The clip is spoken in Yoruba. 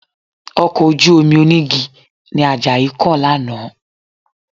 Ọkọ̀ ojú-omi onígi ni Àjàyí kàn lánàá